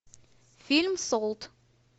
фильм солт